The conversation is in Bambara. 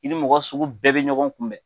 I ni mɔgɔ sugu bɛɛ bɛ ɲɔgɔn kunbɛn.